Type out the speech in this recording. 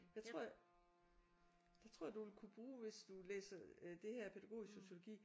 Jeg tror jeg. Det tror jeg du ville kunne bruge hvis du læser øh det her pædagogisk sociologi